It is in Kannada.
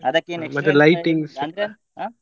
ಅದಕ್ಕೇನು ಅಂದ್ರೆ ಹ.